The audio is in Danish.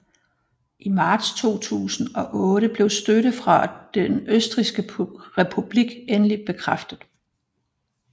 I marts 2008 blev støtte fra Den Østrigske Republik endeligt bekræftet